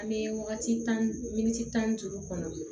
An bɛ wagati tan min ta ni juru kɔnɔ